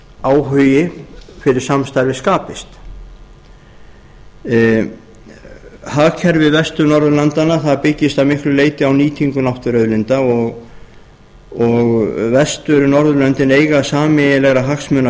áhugi fyrir samstarfi skapist hagkerfi vestur norðurlandanna byggist að miklu leyti á nýtingu náttúruauðlinda og vestur norðurlöndin eiga sameiginlega hagsmuna að